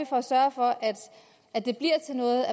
for at sørge for at det bliver til noget